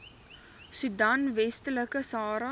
soedan westelike sahara